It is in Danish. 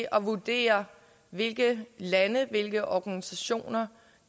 at vurdere hvilke lande og hvilke organisationer